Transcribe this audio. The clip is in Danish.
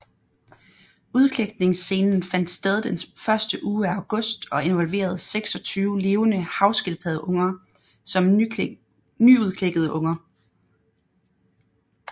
Udklækningsscenen fandt sted den første uge af august og involverede 26 levende havskildpaddeunger som nyudklækkede unger